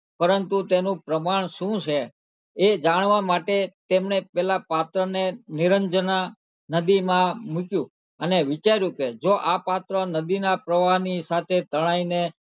પરંતુ તેનું પ્રમાણ શું છે એ જાણવા માટે તેમને પેલાં પાત્રને નિરંજનાં નદીમાં મુક્યું અને વિચાર્યું કે જો આ પાત્ર નદીનાં પ્રવાહની સાથે તણાઈને,